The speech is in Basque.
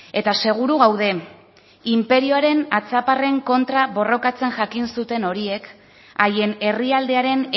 eta seguru gaude inperioaren atzaparren kontra borrokatzen jakin zuten horiek haien herrialdearen